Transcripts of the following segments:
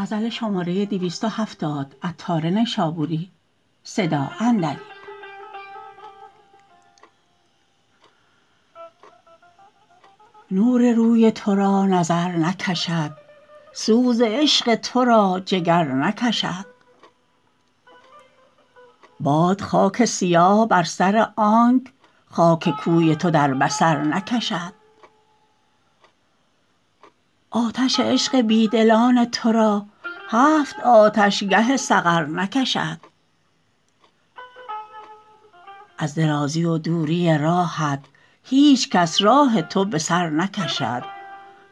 نور روی تو را نظر نکشد سوز عشق تو را جگر نکشد باد خاک سیاه بر سر آنک خاک کوی تو در بصر نکشد آتش عشق بیدلان تو را هفت آتش گه سقر نکشد از درازی و دوری راهت هیچ کس راه تو به سر نکشد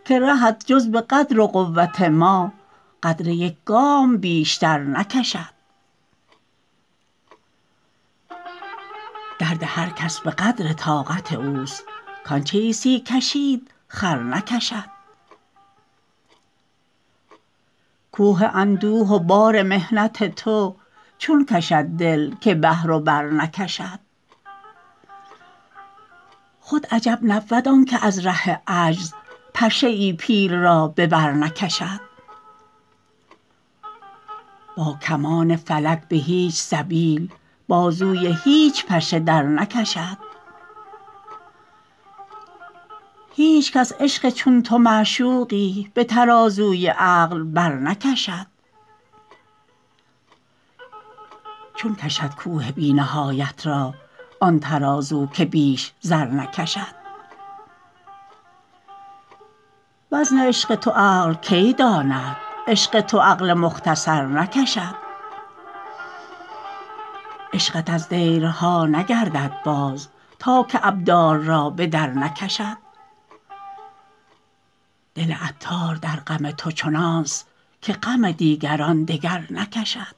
که رهت جز به قدر و قوت ما قدر یک گام بیشتر نکشد درد هر کس به قدر طاقت اوست کانچه عیسی کشید خر نکشد کوه اندوه و بار محنت تو چون کشد دل که بحر و بر نکشد خود عجب نبود آنکه از ره عجز پشه ای پیل را به بر نکشد با کمان فلک به هیچ سبیل بازوی هیچ پشه در نکشد هیچکس عشق چون تو معشوقی به ترازوی عقل بر نکشد چون کشد کوه بی نهایت را آن ترازو که بیش زر نکشد وزن عشق تو عقل کی داند عشق تو عقل مختصر نکشد عشقت از دیرها نگردد باز تا که ابدال را بدر نکشد دل عطار در غم تو چنان است که غم دیگران دگر نکشد